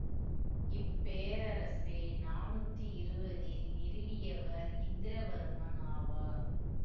இப்பேரரசை நானூத்தி இருவதில் நிறுவியவர் இந்திரவர்மன் ஆவார்